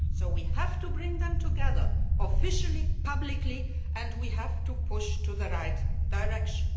We have to bring them together, officially and publicly, and we have to push them in the right direction.